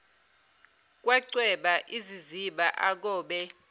kwacweba iziziba akobe